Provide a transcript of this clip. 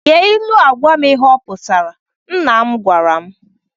Gee ilu a gwam ihe ọ pụtara, nna m gwara m.